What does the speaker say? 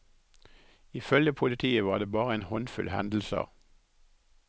I følge politiet var det bare en håndfull hendelser.